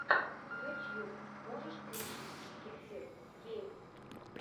ютьюб можешь включить кефир геймс